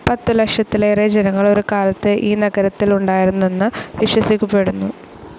പത്തു ലക്ഷത്തിലേറെ ജനങ്ങൾ ഒരു കാലത്ത് ഈ നഗരത്തിൽ ഉണ്ടായിരുന്നെന്ന് വിശ്വസിക്കപ്പെടുന്നു.